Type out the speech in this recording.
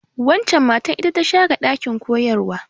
Waccan matar ita ta share ɗakin koyarwa.